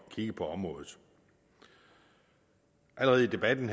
kigge på området allerede i debatten